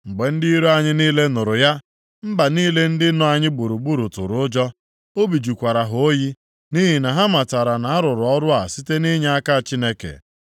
Mgbe ndị iro anyị niile nụrụ ya, mba niile ndị nọ anyị gburugburu tụrụ ụjọ, obi jụkwara ha oyi, nʼihi na ha matara na-arụrụ ọrụ a site nʼinyeaka Chineke.